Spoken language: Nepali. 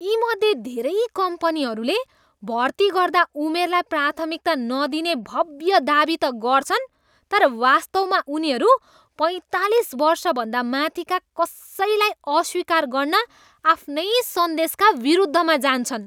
यीमध्ये धेरै कम्पनीहरूले भर्ती गर्दा उमेरलाई प्राथमिकता नदिने भव्य दावी त गर्छन् तर वास्तवमा उनीहरू पैँतालिस वर्षभन्दा माथिका कसैलाई अस्वीकार गर्न आफ्नै सन्देशका विरुद्धमा जान्छन्।